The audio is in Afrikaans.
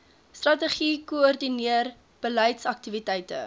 strategie koördineer beleidsaktiwiteite